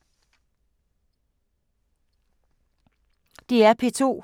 DR P2